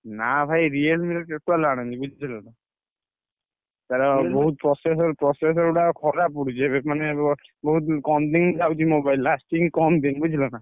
ନା ଭାଇ Realme ର total ଆଣନି ବୁଝିଲନା। ତାର ବହୁତ୍ processor processor ଗୁଡାକ ଖରାପ ପଡୁଛି। ଏବେ ମାନେ ବହୁତ୍ କମ୍ ଦିନି ଯାଉଛି mobile ଟା lasting କମ୍ ଦିନି ବୁଝିଲନା।